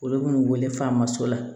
Olu bin'u wele f'an ma so la